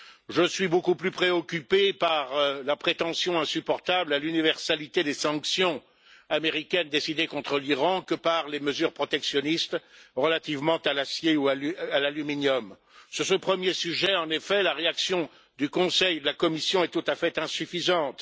Je suis beaucoup plus préoccupé par la prétention insupportable à l'universalité des sanctions américaines décidées contre l'Iran que par les mesures protectionnistes relativement à l'acier ou à l'aluminium. Sur ce premier sujet, en effet, la réaction du Conseil et de la Commission est tout à fait insuffisante.